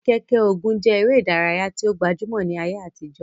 Keke-Ogun je ere idaraya ti o gbajumo ni aye atijo.